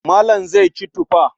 Malam zai ci tufa.